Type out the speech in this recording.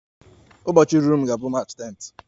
Ụbọchị m ruru ga-abụ March 10th